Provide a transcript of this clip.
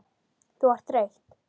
Þú ert þreytt.